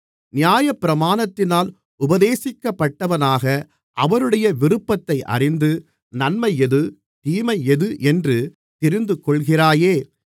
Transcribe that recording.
நியாயப்பிரமாணத்தினால் உபதேசிக்கப்பட்டவனாக அவருடைய விருப்பத்தை அறிந்து நன்மை எது தீமை எது என்று தெரிந்துகொள்கிறாயே